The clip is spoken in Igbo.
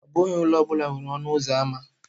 Ọ bụghị ụlọ ọ bụla nwere ọnụ ụzọ ámá.